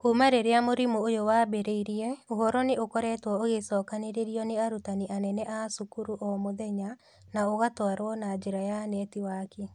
Kuuma rĩrĩa mũrimũ ũyũ wambĩrĩirie, ũhoro nĩ ũkoretwo ũgĩcokanĩrĩrio nĩ arutani anene a cukuru o mũthenya na ũgatwarwo na njĩra ya netiwaki.